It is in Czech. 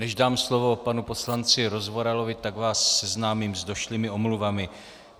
Než dám slovo panu poslanci Rozvoralovi, tak vás seznámím s došlými omluvami.